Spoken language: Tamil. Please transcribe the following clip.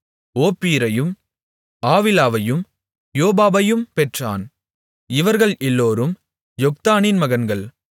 ஓப்பீரையும் ஆவிலாவையும் யோபாபையும் பெற்றான் இவர்கள் எல்லோரும் யொக்தானின் மகன்கள்